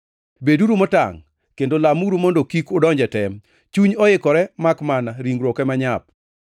Beduru motangʼ kendo lamuru mondo kik udonj e tem. Chuny oikore makmana ringruok ema nyap.”